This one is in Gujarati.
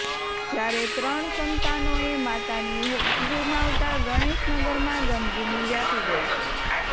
જ્યારે ત્રણ સંતાનોએ માતાની હુફ ગુમાવતા ગણેશનગરમાં ગમગીની વ્યાપી ગઈ છે